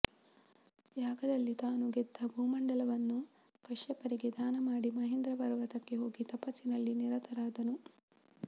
ಯಾಗದಲ್ಲಿ ತಾನು ಗೆದ್ದ ಭೂಮಂಡಲವನ್ನು ಕಶ್ಯಪರಿಗೆ ದಾನ ಮಾಡಿ ಮಹೇಂದ್ರ ಪರ್ವತಕ್ಕೆ ಹೋಗಿ ತಪಸ್ಸಿನಲ್ಲಿ ನಿರತರಾದನು